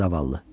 Zavallı.